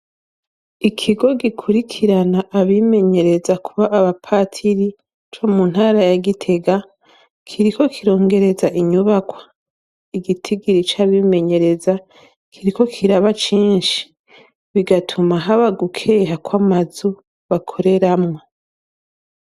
Ikigo gikurikirana abimenyereza kuba abapatiri co mu ntara ya Gitega kiriko kirongereza inyubakwa, igitigiri c'abimenyereza kiriko kiraba cinshi, bigatuma haba gukeha kw'amazu bakoreramwo.